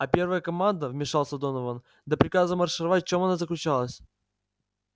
а первая команда вмешался донован до приказа маршировать в чём она заключалась